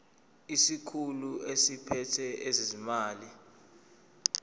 isikhulu esiphethe ezezimali